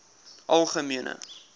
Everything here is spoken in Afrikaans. algemene